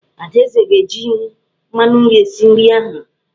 Adaeze ga-eji mmanụ nri esi nri ahụ.